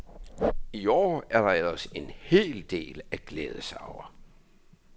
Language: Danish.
I år er der ellers en hel del at glæde sig over.